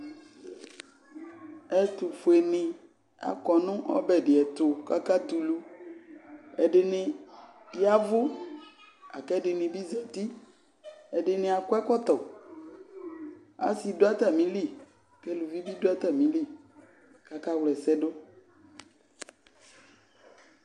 ɛtʊfʊenɩ akɔnʊ ɔbɛdɩɛtʊ kakatulu ɛdɩnɩ yavʊ laku ɛdɩnɩbɩ zəti ɛdɩnɩakɔ ɛkɔtɔ asɩ dʊ atamili keluvibi bɩ dʊ atamili kʊ aka wlɛsɛdʊ